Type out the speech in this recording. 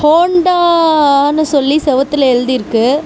ஹோண்டான்னு சொல்லி செவுத்துல எழுதி இருக்கு.